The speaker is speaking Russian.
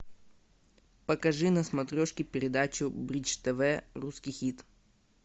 покажи на смотрешке передачу бридж тв русский хит